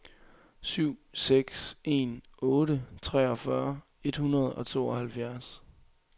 syv seks en otte treogfyrre et hundrede og tooghalvfjerds